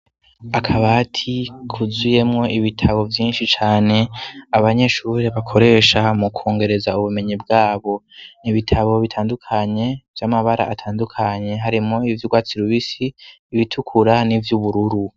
Akabati kuzuyemwo ibitabo vyinshi cane abanyeshuri bakoresha mu kongereza ubumenyi bwabo, ni ibitabo bitandukanye vy'amabara atandukanye, harimwo iby'urwatsi rubisi, ibitukura n'ivy'ubururu.